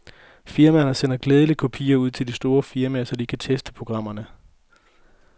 Firmaerne sender gladeligt kopier ud til de store firmaer, så de kan teste programmerne.